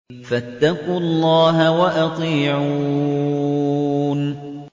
فَاتَّقُوا اللَّهَ وَأَطِيعُونِ